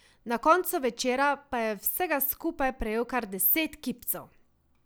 Na koncu večera pa je vsega skupaj prejel kar deset kipcev.